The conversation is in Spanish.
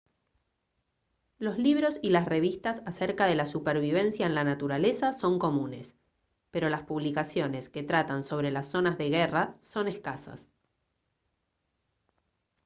los libros y las revistas acerca de la supervivencia en la naturaleza son comunes pero las publicaciones que tratan sobre las zonas de guerras son escazas